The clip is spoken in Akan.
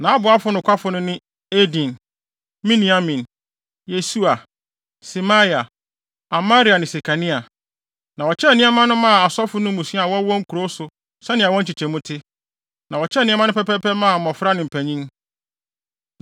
Nʼaboafo nokwafo no ne Eden, Miniamin, Yesua, Semaia, Amaria ne Sekania. Na wɔkyekyɛɛ nneɛma no maa asɔfo mmusua a wɔwɔ wɔn nkurow so sɛnea wɔn nkyekyɛmu te, na wɔkyɛɛ nneɛma no pɛpɛɛpɛ maa mmofra ne mpanyin.